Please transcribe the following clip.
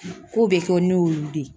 Ko bɛ kɛ ne y'olu de ye